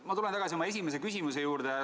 Ma tulen tagasi oma esimese küsimuse juurde.